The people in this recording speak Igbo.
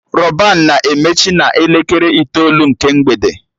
Rọban na-emechi na elekere itoolu nke mgbede